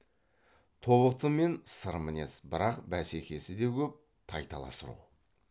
тобықтымен сырмінез бірақ бәсекесі де көп тайталас ру